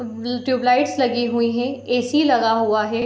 Tube lights लगे हुए है। ए.सी. लगा हुआ है।